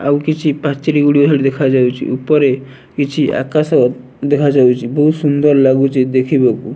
ଆଉ କିଛି ପାଚେରୀ ଗୁଡ଼ିକ ହେଠି ଦେଖାଯାଉଚି। ଉପରେ କିଛି ଆକାଶ ଦେଖାଯାଉଚି। ବୋହୁତ ସୁନ୍ଦର ଲାଗୁଚି ଦେଖିବାକୁ।